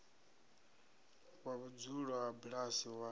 wa vhudzulo ha bulasi wa